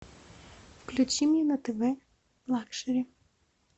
включи мне на тв лакшери